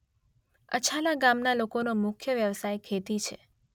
અછાલા ગામના લોકોનો મુખ્ય વ્યવસાય ખેતી છે.